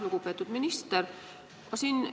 Lugupeetud minister!